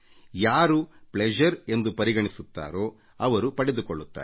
ಯಾರು ಪ್ಲೆಶರ್ ಎಂದು ಪರಿಗಣಿಸುತ್ತಾರೋ ಅವರು ಸಾಧನೆ ಮಾಡುತ್ತಾರೆ